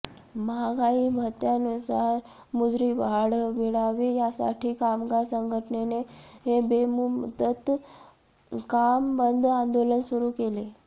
महागाई भत्त्यानुसार मजुरीवाढ मिळावी यासाठी कामगार संघटनेने बेमुदत काम बंद आंदोलन सुरू केले